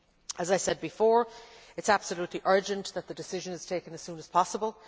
As I said before, it is absolutely urgent that the decision is taken as soon as possible.